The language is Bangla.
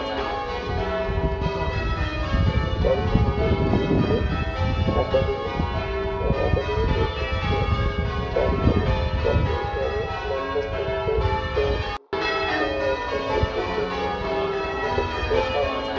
চারু কলা হলো ইউরোপেও academic ঐতিজ্য চারু কলা সৌন্দর্যের জন্য বিকশিত হয়